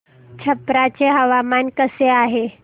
छप्रा चे हवामान कसे आहे